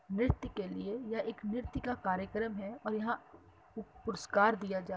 नृत्य के लिए यह एक नृत्य का कार्यक्रम है और यहाँ पुरस्कार दीया जा --